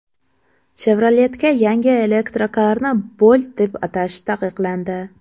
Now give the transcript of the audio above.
Chevrolet’ga yangi elektrokarni Bolt deb atash taqiqlandi.